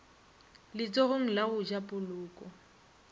letsogong la go ja poloko